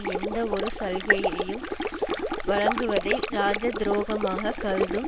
எந்தவொரு சலுகையையும் வழங்குவதை இராஜ துரோகமாக கருதும்